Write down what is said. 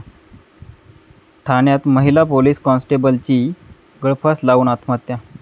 ठाण्यात महिला पोलीस कॉन्स्टेबलची गळफास लावून आत्महत्या